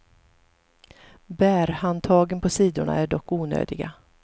Bärhandtagen på sidorna är dock onödiga.